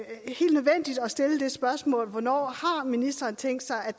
stille dette spørgsmål hvornår har ministeren tænkt sig at